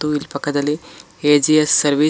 ಇಲ್ ಪಕ್ಕದಲ್ಲಿ A G S service --